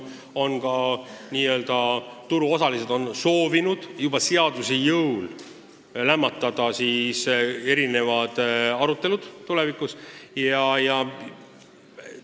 Nii-öelda turuosalised on soovinud seaduse jõul mitmesugused arutelud tulevikus juba eos lämmatada.